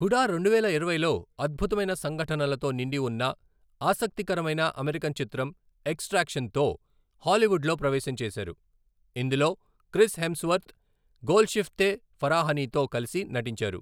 హుడా రెండువేల ఇరవైలో అద్భుతమైన సంఘటనలతో నిండి ఉన్న ఆసక్తికరమైన అమెరికన్ చిత్రం ఎక్సట్రాక్షన్ తో హాలీవుడ్ లో ప్రవేశం చేసారు, ఇందులో క్రిస్ హెమ్స్వర్త్, గోల్షిఫ్తే ఫరాహనీతో కలిసి నటించారు.